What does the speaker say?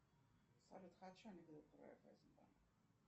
салют